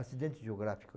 Acidentes geográfico